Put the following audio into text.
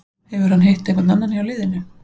Hefur hann hitt einhvern annan hjá liðinu?